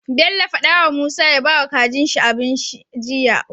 Bello faɗa wa musa ya bawa kajin shi abinci jiya